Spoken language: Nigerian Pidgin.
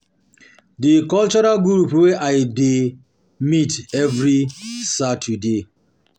Di cultural group wey I dey dey meet every Saturday.